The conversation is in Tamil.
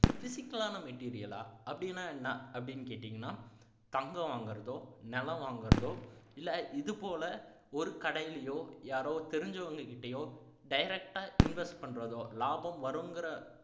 physical ஆன material ஆ அப்படின்னா என்ன அப்படீன்னு கேட்டீங்கன்னா தங்கம் வாங்குறதோ நிலம் வாங்குறதோ இல்லை இதுபோல ஒரு கடையிலோ யாரோ தெரிஞ்சவங்ககிட்டயோ direct ஆ invest பண்றதோ லாபம் வருங்கிற